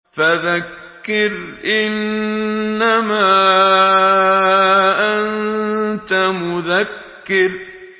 فَذَكِّرْ إِنَّمَا أَنتَ مُذَكِّرٌ